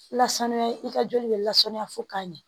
Lasanuya i ka joli bɛ lasanuya fo ka ɲɛ